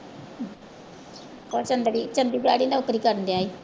ਉਹ ਚੰਦੜੀ ਚੰਡੀਗੜ੍ਹ ਹੀ ਨੌਕਰੀ ਕਰਨ ਗਿਆ ਸੀ।